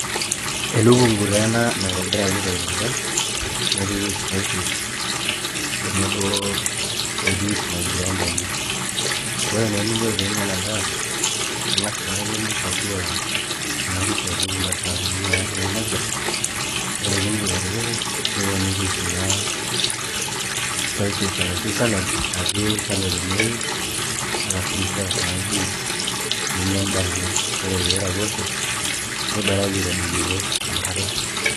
Elukungu taa ena naitobiraki te eilata nepiki spices tenebo o juice naiblendaki, ore naa eninko pee inya ena daa ing'as naake nimpakua ena kuku apik kunda saanini naatii emisa ore pee iindim atipika niponiki kuna spices arashu salad natii kando tenwuei alafu nisurve naa juice ninya endaa ino ore pee iraposho nibaraki aitadoyiorie enkare.